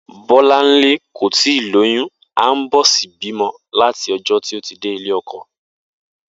Bó̩láńlé kò tíì lóyún àńbó̩sí bímo̩ láti o̩jó̩ tí ó ti dé ilé o̩ko̩